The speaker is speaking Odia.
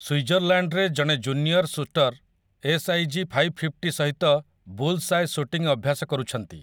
ସ୍ୱିଜରଲାଣ୍ଡରେ ଜଣେ ଜୁନିୟର୍ ସୁଟର୍ ଏସ୍ଆଇଜି ଫାଇଭ୍‌ଫିଫ୍ଟି ସହିତ ବୁଲ୍ସ୍ଆଏ ସୁଟିଂ ଅଭ୍ୟାସ କରୁଛନ୍ତି ।